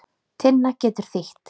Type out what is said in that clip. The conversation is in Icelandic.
Tinna getur þýtt